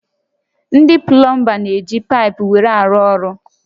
Ndị plọmba n'eji paịpụ were arụ ọrụ